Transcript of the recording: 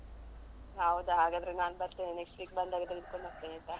ಹೌದಾ ಹಾಗಾದ್ರೆ ನನ್ ಬರ್ತೇನೆ next week ಬಂದಾಗ ಹಿಡ್ಕೊಂಡು ಬರ್ತೇನೆ ಆಯ್ತಾ.